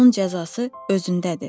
Onun cəzası özündədir.